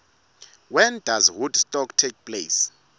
when does woodstock take place